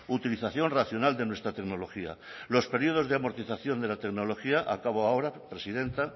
utilización racional de nuestra tecnología los periodos de amortización de la tecnología acabo ahora presidenta